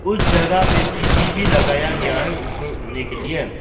कुछ जगह में सीढ़ी भी लगाया गया है ऊपर उठने के लिए।